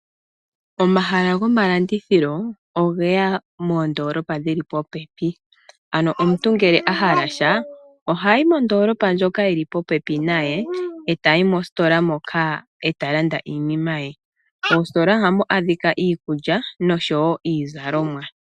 Omahala gomalandithilo ogeya moondoolopa dhili popepi. Omuntu ngele ahala sha ohayi mondoolopa ndjoka yili popepi naye etayi mostola moka eta landa iinima ye. Moostola ohamu adhika iikulya noshowo iizalomwa.